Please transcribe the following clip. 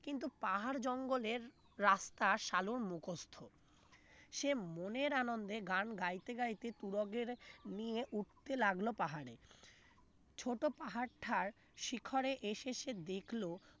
কিন্তু পাহাড় জঙ্গলের রাস্তা সালুর মুখস্ত সে মনের আনন্দে গান গাইতে গাইতে তুরগের নিয়ে উঠতে লাগলো পাহাড়ে ছোট পাহাড়টার শিখরে এসেছে সে দেখল